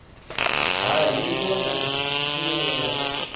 ha hingo na tshumelo ya